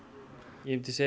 ég myndi segja